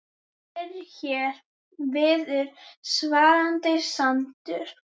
Fyrr hér viður svalan sand